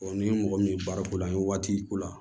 ni mɔgɔ min ye baara ko la an ye waati ko la